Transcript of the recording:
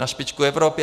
Na špičku Evropy.